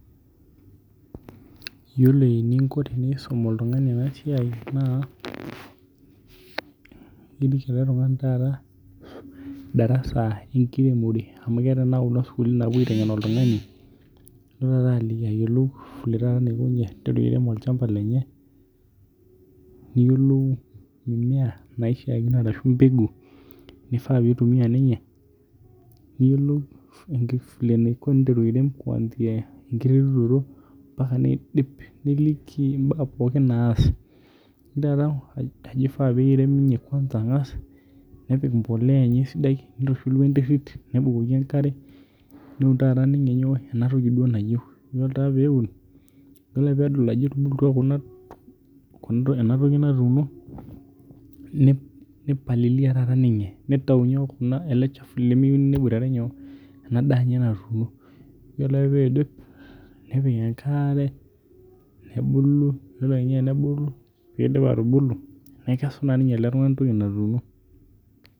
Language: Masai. Yiolo eninko tenisum oltung'ani ena siai erik ele tung'ani taata darasa enkiremore. Amu keetae isukulini naitengen oltung'ani no alo ayiolou vile enaiko ninye piteru airem olchamba lenye niyelou mbegu neifaa pitumia ninye niyolou eniko pee iteru airem enkiremore ompaka nidip nilikii inaa pookin naas. Niliki ajoo keifaa neirem ninye ang'as nepik emboloya enye sidai niturunu enterit nibukoki enkare petum ninye nyoo? Ena toki duo nayeu. Dol taa peun idol ake pedol ajo etubulutua kuna ena toki natuuno nipalilia taa ninye nitayu nyoo? Ele chafu lemiyou neboitare nyoo neaa daa enye natuno. Ore ake pee idip nepiki enkare nebulu ore kenya tenebulu pidip atubuku nekesu naa ninye oltung'ani ena toki naatuuno.